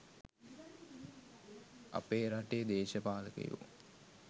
අපේ රටේ දේශපාලකයෝ